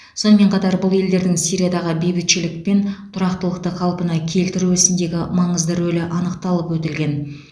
сонымен қатар бұл елдердің сириядағы бейбітшілік пен тұрақтылықты қалпына келтіру ісіндегі маңызды рөлі анықталып өтілген